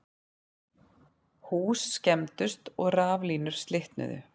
Hús skemmdust og rafmagnslínur slitnuðu